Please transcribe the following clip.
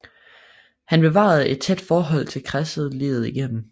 Han bevarede et tæt forhold til kredsen livet igennem